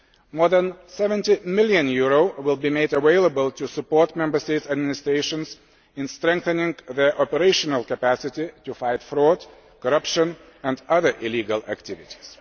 More than EUR 70 million will be made available to support Member States' administrations in strengthening their operational capacity to fight fraud, corruption and other illegal activities.